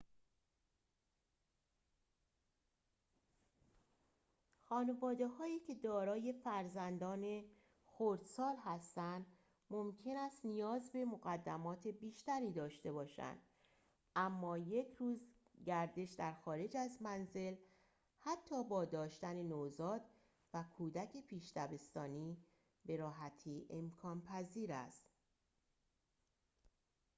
خانواده‌هایی که دارای فرزندان خردسال هستند ممکن است نیاز به مقدمات بیشتری داشته باشند اما یک روز گردش در خارج از منزل حتی با داشتن نوزاد و کودک پیش دبستانی به راحتی امکان‌پذیر است